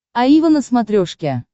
аива на смотрешке